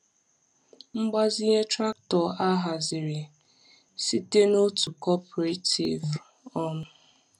Mgbazinye traktọ haziri site n’otu cooperative. um